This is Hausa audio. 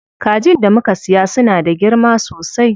Kajin da muka siya suna da girma sosai.